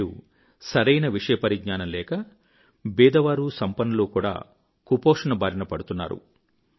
నేడు సరైన విషయపరిజ్ఞానం లేక బీదవారు సంపన్నులు కూడా కుపోషణ బారిన పడుతున్నారు